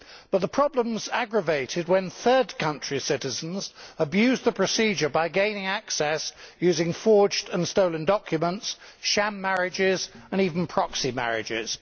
But the problem is aggravated when third country citizens abuse the procedure by gaining access using forged and stolen documents, sham marriages and even proxy marriages.